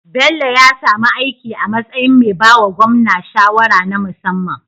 Bello ya sami aiki a matsayin me bawa gwamna shawara na musamman